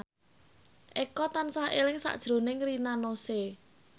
Eko tansah eling sakjroning Rina Nose